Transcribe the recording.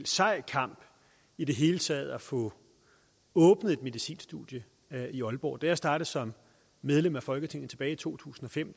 sej kamp i det hele taget at få åbnet et medicinstudie i aalborg da jeg startede som medlem af folketinget tilbage i to tusind og fem